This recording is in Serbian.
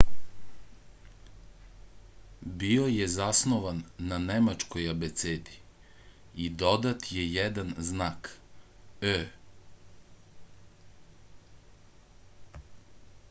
био је заснован је на немачкој абецеди и додат је један знак õ/õ